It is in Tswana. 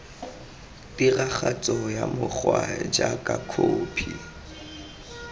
tiragatso ya mokgwa jaaka khophi